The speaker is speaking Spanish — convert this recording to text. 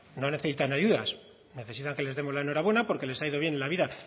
no necesitan ayudas necesitan que les demos la enhorabuena porque les ha ido bien en la vida